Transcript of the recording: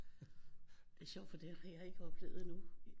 Det er sjovt fordi det har jeg ikke oplevet endnu